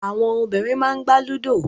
Àwọn obìnrin máà n gbà Ludo.